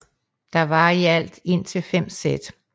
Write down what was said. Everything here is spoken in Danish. Der var i alt indtil fem sæt